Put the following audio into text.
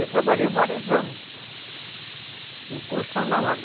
Eu trabalhei vários anos em construção naval